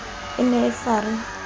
e ne e sa re